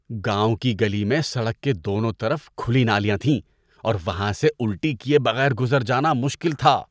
گاؤں کی گلی میں سڑک کے دونوں طرف کھلی نالیاں تھیں اور وہاں سے الٹی کیے بغیر گزر جانا مشکل تھا۔